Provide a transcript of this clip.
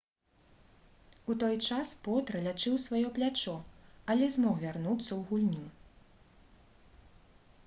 у той час потра лячыў сваё плячо але змог вярнуцца ў гульню